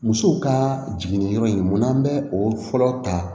Musow ka jiginni yɔrɔ in mun na an bɛ o fɔlɔ ta